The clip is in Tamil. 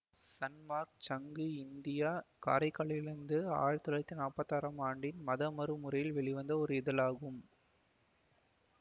சன்மார்க்கச் சங்கு இந்தியா காரைக்காலிலிருந்து ஆயிரத்தி தொள்ளாயிரத்தி நாப்பத்தி ஆறாம் ஆண்டின் மதமிரு முறை வெளிவந்த ஒரு இதழாகும்